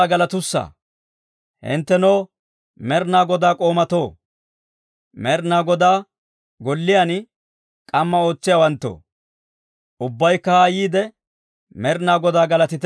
Hinttenoo Med'inaa Godaa k'oomatoo, Med'inaa Godaa golliyaan k'amma ootsiyaawanttoo, ubbaykka haa yiide, Med'inaa Godaa galatite.